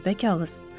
Qəribə kağız?